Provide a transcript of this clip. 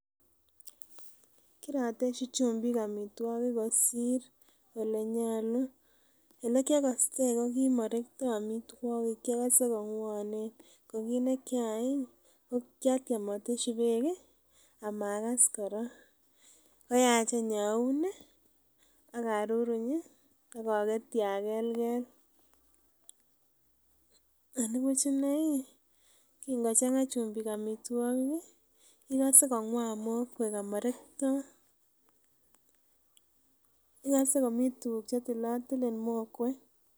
Tamkonyonei konyil aenge en wigit , kanyaindetab kiagik koswa tuguk tugul ako ih ngamuun ih inyokosue kot ko me mianda agetugul anan iyon ko kogore inyokosue atkoamishe komie anan anan kabiya komie.